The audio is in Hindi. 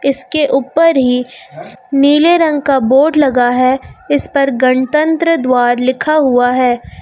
इसके ऊपर ही नीले रंग का बोर्ड लगा है इस पर गणतंत्र द्वार लिखा हुआ है।